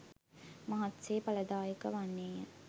මහත් සේ ඵලදායක වන්නේ ය.